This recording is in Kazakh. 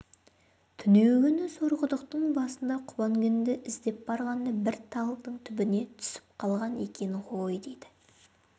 түнеугүні сорқұдықтың басында құба інгенді іздеп барғанда бір талдың түбіне түсіп қалған екен ғой дейді